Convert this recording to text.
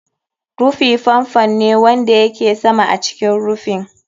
Rufi fan fan ne wanda yake sama a cikin rufin.